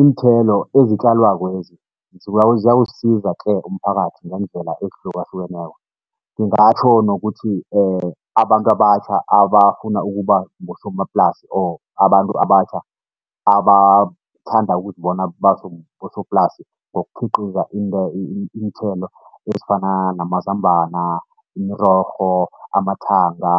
Iinthelo ezitjalwakwezi ziyawusiza tle umphakathi ngeendlela ezihlukahlukeneko, ngingatjho nokuthi abantu abatjha abafuna ukuba bosomaplasi or abantu abatjha abathanda ukuzibona babosoplasi, ngokhiqiza iinthelo ezifana namazambana, imirorho, amathanga,